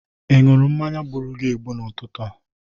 Ị ṅụrụ mmanya gburu gi egbu n'ụtụtụ a.